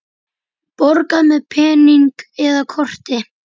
Borga með pening eða korti?